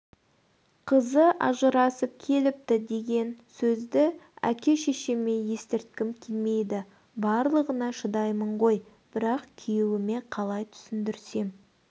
қызы ажырасып келіпті деген сөзді ке-шешеме естірткім келмейді барлығына шыдаймын ғой бірақ күйеуіме қалай түсіндірсем